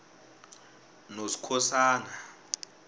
noskhosana